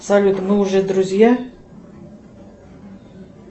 салют мы уже друзья